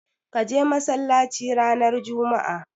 Ka je masallaci ranar juma'a.